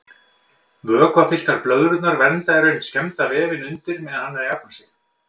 Vökvafylltar blöðrurnar vernda í raun skemmda vefinn undir meðan hann er að jafna sig.